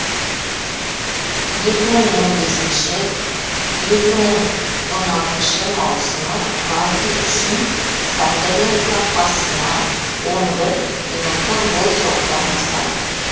екі мың он бесінші екі мың он алтыншы маусымы варди үшін сандерленд қақпасына он бір минутта гол соғудан басталды